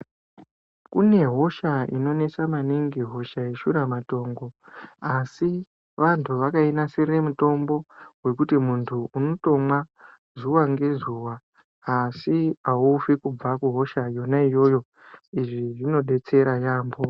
Kune hosha inonesa maningi hosha yeshuramatongo asi vantu vakainasirira mutombo wekuti muntu unotomwa zuwa ngezuwa asi aufi kubva kuhosha yona iyoyo, izvi zvinodetsera. yambo.